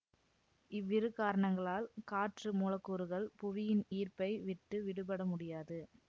இவ்விரு காரணங்களால் காற்று மூலக்கூறுகள் புவியின் ஈர்ப்பை விட்டு விடுபட முடியாது